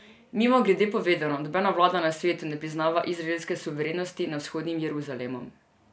Mimogrede povedano, nobena vlada na svetu ne priznava izraelske suverenosti nad Vzhodnim Jeruzalemom.